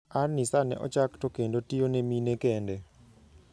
An-Nisa ne ochak to kendo tiyone mine kende.